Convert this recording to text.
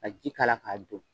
Ka ji k'a la k'a